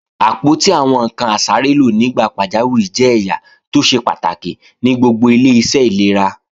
Àpótí àwọn ǹkan asárélò nígbà pàjáwìrì jẹ́ ẹ̀yà tó ṣe pàtàkì ní gbogbo ilé-iṣẹ́ ìlera